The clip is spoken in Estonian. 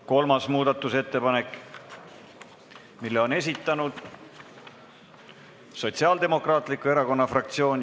Kolmanda muudatusettepaneku on esitanud Sotsiaaldemokraatliku Erakonna fraktsioon.